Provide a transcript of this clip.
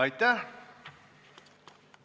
Aitäh!